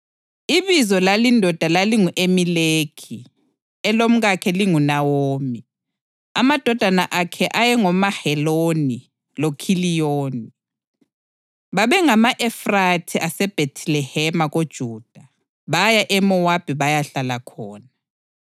Ibizo lalindoda lalingu-Elimeleki, elomkakhe linguNawomi, amadodana akhe amabili ayengoMaheloni loKhiliyoni. Babengama-Efrathi aseBhethilehema koJuda. Baya eMowabi bayahlala khona.